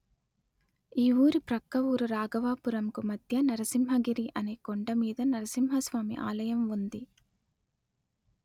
ఈ ఊరి ప్రక్క ఊరు రాఘవాపురంకు మధ్య నరసింహగిరి అనే కొండమీద నరసింహ స్వామి ఆలయం ఉంది